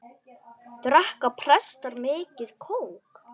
Drekka prestar mikið kók?